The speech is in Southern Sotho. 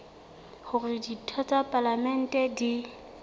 hore ditho tsa palamente di